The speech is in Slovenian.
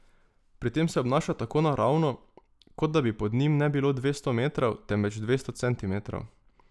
Pri tem se obnaša tako naravno, kot da bi pod njim ne bilo dvesto metrov, temveč dvesto centimetrov.